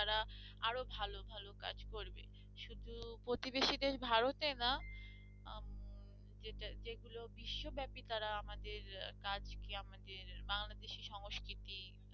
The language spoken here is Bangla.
প্রতিবেশী দেশ ভারতে না আহ যেটা যেগুলো বিশ্বব্যাপী তারা আমাদের কাজ কে আমাদের বাংলাদেশি সংস্কৃতি